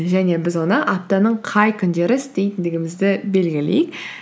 және біз оны аптаның қай күндері істейтіндігімізді белгілейік